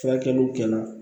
Furakɛliw kɛ la